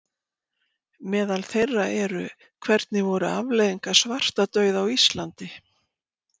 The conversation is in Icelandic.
Meðal þeirra eru: Hvernig voru afleiðingar svartadauða á Íslandi?